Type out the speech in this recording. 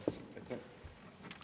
Aitäh!